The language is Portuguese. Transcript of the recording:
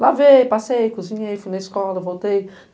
Lavei, passei, cozinhei, fui na escola, voltei.